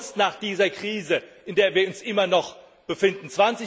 Was denn sonst nach dieser Krise, in der wir uns immer noch befinden?